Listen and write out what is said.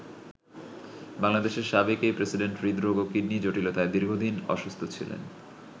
বাংলাদেশের সাবেক এই প্রেসিডেন্ট হৃদরোগ ও কিডনি জটিলতায় দীর্ঘদিন অসুস্থ ছিলেন।